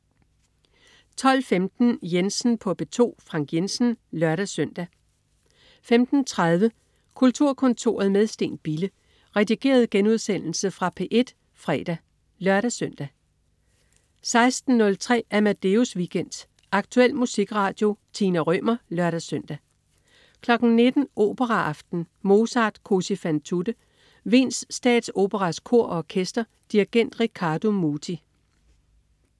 12.15 Jensen på P2. Frank Jensen (lør-søn) 15.30 Kulturkontoret med Steen Bille. Redigeret genudsendelse fra P1 fredag (lør-søn) 16.03 Amadeus Weekend. Aktuel musikradio. Tina Rømer (lør-søn) 19.00 Operaaften. Mozart: Così fan tutte. Wiens Statsoperas Kor og Orkester. Dirigent: Riccardo Muti